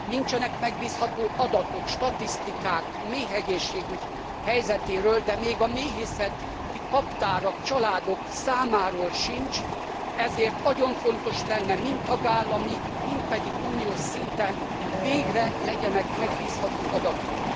Nincsenek megbízható adatok, statisztikák a méhegészségügy helyzetéről, de még a méhészeti kaptárak, családok számáról sincs, ezért nagyon fontos lenne mind tagállami, mind pedig uniós szinten, hogy végre legyenek megbízható adatok.